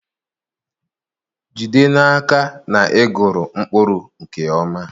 Jide n'aka na ị gụrụ mkpụrụ nke ọma.